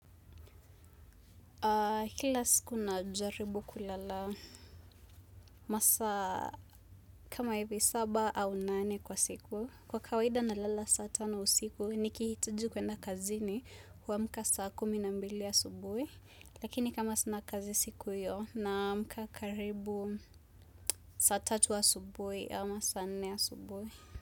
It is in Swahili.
Kila siku najaribu kulala masaa kama hivi saba au nane kwa siku. Kwa kawaida nalala saa tano usiku nikihitaji kwenda kazini huamka saa kumi na mbili asubuhi. Lakini kama sana kazi siku hiyo naamka karibu saa tatuasubuhi ama saa nne asubuhi.